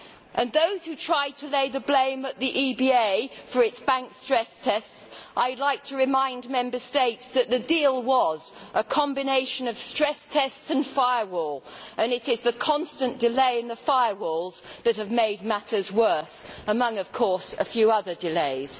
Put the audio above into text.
And for those who try to lay the blame on the EBA for its bank stress tests, I would like to remind Member States that the deal was a combination of stress tests and firewall, and it is the constant delay in the firewalls that has made matters worse among, of course, a few other delays.